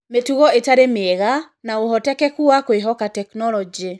Mĩtugo ĩtarĩ mĩega, na ũhotekeku wa kũĩhoka tekinoronjĩ.